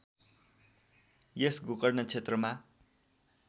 यस गोकर्ण क्षेत्रमा